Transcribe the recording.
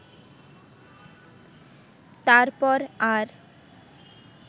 তারপর আর